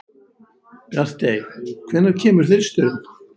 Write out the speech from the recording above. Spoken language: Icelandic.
Bjartey, hvenær kemur þristurinn?